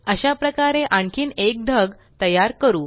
अशाप्रकारे आणखीन एक ढग तयार करू